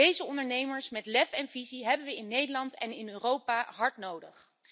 Deze ondernemers met lef en visie hebben wij in Nederland en in Europa hard nodig.